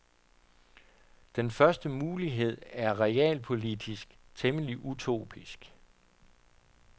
Den første mulighed er realpolitisk temmelig utopisk.